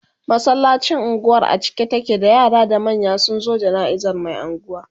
masallacin unguwar a cike take da yara da manya sunzo janaizan Mai unguwa